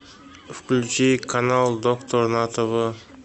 включи канал доктор на тв